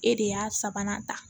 E de y'a sabanan ta